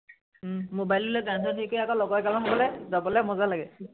উম mobile ললে গান সান হেৰি কৰা আকৌ লগৰ এগালমান গলে যাবলে মজা লাগে।